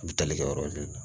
An bɛ tali kɛ o yɔrɔ ninnu na